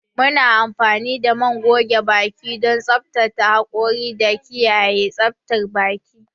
Muna amfani da man goge baki don tsaftace hakora da kiyaye tsaftar baki.